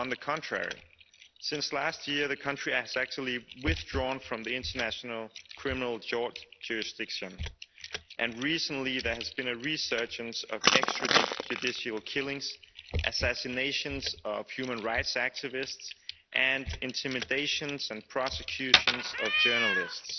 On the contrary, since last year, the country has actually withdrawn from the International Criminal Court jurisdiction, and recently there has been a resurgence of extra judicial killings, assassinations of human rights activists and intimidation and prosecutions of journalists.